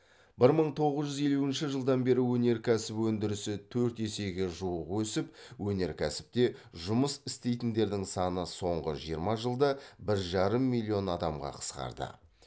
бір мың тоғыз жүз елуінші жылдан бері өнеркәсіп өндірісі төрт есеге жуық өсіп өнеркәсіпте жұмыс істейтіндердің саны соңғы жиырма жылда бір жарым миллион адамға қысқарды